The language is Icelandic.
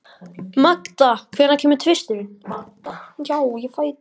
Magda, hvenær kemur tvisturinn?